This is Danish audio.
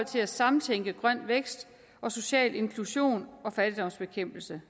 til at samtænke grøn vækst social inklusion og fattigdomsbekæmpelse